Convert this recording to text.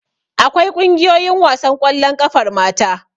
Akwai ƙungiyoyin wasan ƙwallon ƙafar mata.